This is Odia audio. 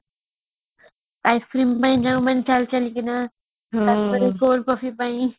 ice cream ଯୋଉମାନେ ଚାଲିଚାଲିକିଣା ଆସୁଥିଲେ coal coffee ପାଇଁ